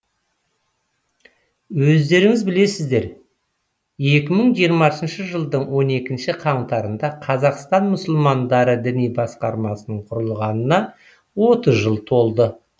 өздеріңіз білесіздер екі мың жиырмасыншы жылдың он екінші қаңтарында қазақстан мұсылмандары діни басқармасының құрылғанына отыз жыл толды